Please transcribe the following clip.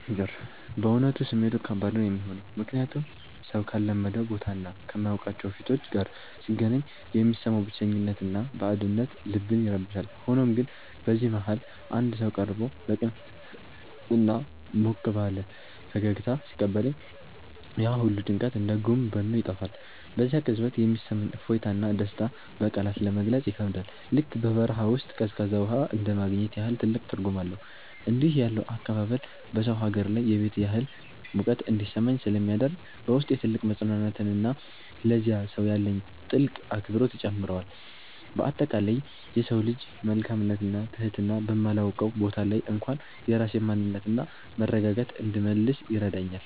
በእውነቱ ስሜቱ ከባድ ነው የሚሆነው፤ ምክንያቱም ሰው ካልለመደው ቦታና ከማያውቃቸው ፊቶች ጋር ሲገናኝ የሚሰማው ብቸኝነትና ባዕድነት ልብን ይረብሻል። ሆኖም ግን በዚህ መሃል አንድ ሰው ቀርቦ በቅንነትና በሞቅ ያለ ፈገግታ ሲቀበለኝ፣ ያ ሁሉ ጭንቀት እንደ ጉም በኖ ይጠፋል። በዚያ ቅጽበት የሚሰማኝ እፎይታና ደስታ በቃላት ለመግለጽ ይከብዳል፤ ልክ በበረሃ ውስጥ ቀዝቃዛ ውሃ እንደማግኘት ያህል ትልቅ ትርጉም አለው። እንዲህ ያለው አቀባበል በሰው ሀገር ላይ የቤት ያህል ሙቀት እንዲሰማኝ ስለሚያደርግ፣ በውስጤ ትልቅ መፅናናትንና ለዚያ ሰው ያለኝን ጥልቅ አክብሮት ይጨምረዋል። በአጠቃላይ የሰው ልጅ መልካምነትና ትህትና በማላውቀው ቦታ ላይ እንኳን የራሴን ማንነትና መረጋጋት እንድመልስ ይረዳኛል።